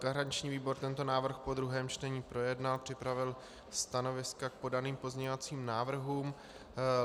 Garanční výbor tento návrh po druhém čtení projednal, připravil stanoviska k podaným pozměňovacím návrhům.